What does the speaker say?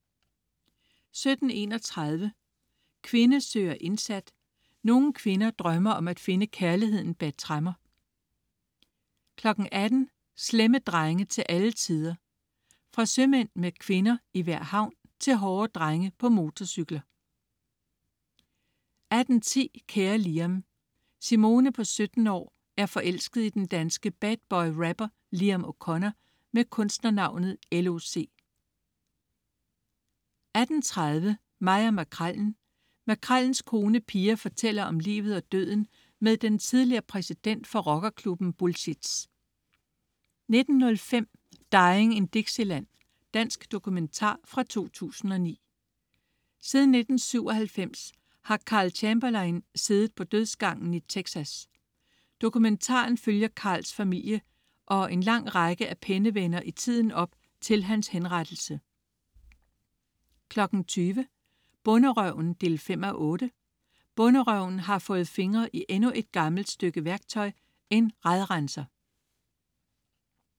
17.31 Kvinde søger indsat. Nogle kvinder drømmer om at finde kærligheden bag tremmer 18.00 Slemme drenge til alle tider. Fra sømænd med kvinder i hver en havn til hårde drenge på motorcykler 18.10 Kære Liam. Simone på 17 år er forelsket i den danske bad-boy rapper Liam O'Connor med kunstnernavnet L.O.C 18.30 Mig og Makrellen. Makrellens kone, Pia, fortæller om livet og døden med den tidligere præsident for rockerklubben Bullshits 19.05 Dying in Dixieland. Dansk dokumentar fra 2009. Siden 1997 har Karl Chamberlain siddet på dødsgangen i Texas. Dokumentaren følger Karls familie og lange række af pennevenner i tiden op til hans henrettelse 20.00 Bonderøven 5:8. Bonderøven har fået fingre i endnu et gammelt stykke værktøj: En radrenser